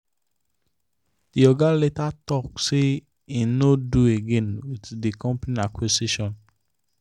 the oga later talk say him no do again with the company acquisition.